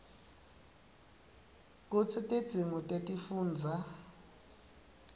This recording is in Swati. kutsi tidzingo tetifundza